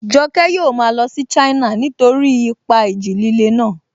Joke yóò máa lọ sí China nítorí ipa ìjì líle náà